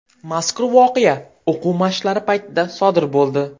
Mazkur voqea o‘quv mashqlari paytida sodir bo‘ldi.